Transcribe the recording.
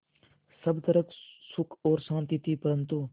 सब तरफ़ सुख और शांति थी परन्तु